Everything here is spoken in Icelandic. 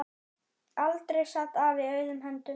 Aldrei sat afi auðum höndum.